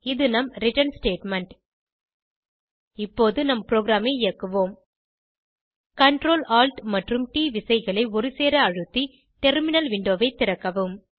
இது நம் return statement இப்போது நம் ப்ரோகிராமை இயக்குவோம் Ctrl Alt மறறும் ட் விசைகளை ஒருசேர அழுத்தி டெர்மினல் விண்டோவை திறக்கவும்